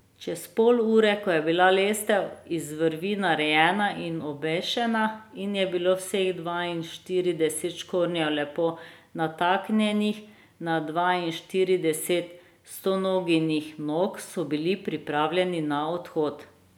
Čez pol ure, ko je bila lestev iz vrvi narejena in obešena in je bilo vseh dvainštirideset škornjev lepo nataknjenih na dvainštirideset Stonoginih nog, so bili pripravljeni na odhod.